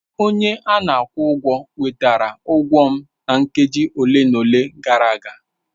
Onye a na-akwụ ụgwọ wetara ụgwọ m nkeji ole na ole gara aga.